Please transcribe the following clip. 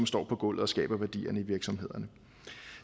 står på gulvet og skaber værdierne i virksomhederne